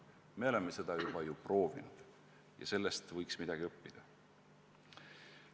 Me oleme seda ju korra juba proovinud ja sellest võiks midagi õppida.